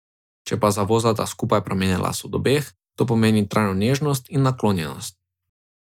Če pa zavozlata skupaj pramena las od obeh, to pomeni trajno nežnost in naklonjenost.